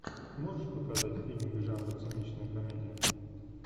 можешь показать фильмик жанра циничная комедия